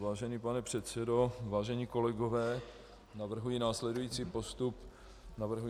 Vážený pane předsedo, vážení kolegové, navrhuji následující postup hlasování.